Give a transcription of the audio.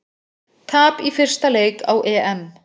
Tap í fyrsta leik á EM